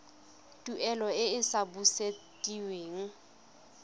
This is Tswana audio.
tuelo e e sa busediweng